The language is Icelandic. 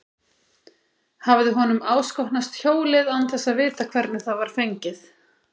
Hafði honum áskotnast hjólið án þess að vita hvernig það var fengið?